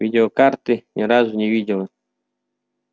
видеокарты ни разу не видела